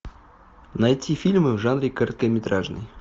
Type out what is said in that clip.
найти фильмы в жанре короткометражный